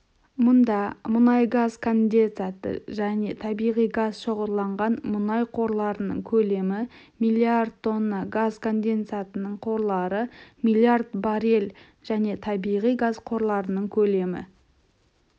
мұнда мұнай газ кондесаты және табиғи газ шоғырланған мұнай қорларының көлемі миллиард тонна газ конденсатының қорлары миллиард баррель және табиғи газ қорларының көлемі